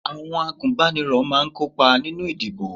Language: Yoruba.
Àwọn agunbaniro máa ń kópa nínú ìdìbò